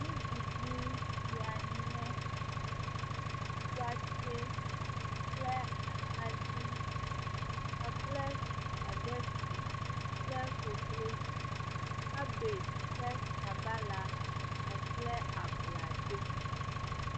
Nuɖuɖu sia nye watsɛ kple atadi kpakple spagehti kple koklozi, kabadzi kple sabala kpakple abladzo.